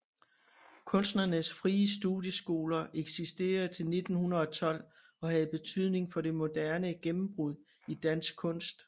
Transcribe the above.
Kunstnernes Frie Studieskoler eksisterede til 1912 og havde betydning for Det moderne gennembrud i dansk kunst